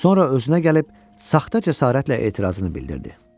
Sonra özünə gəlib saxta cəsarətlə etirazını bildirdi.